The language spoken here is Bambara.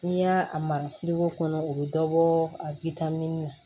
N'i y'a mara kɔnɔ o bi dɔ bɔ a na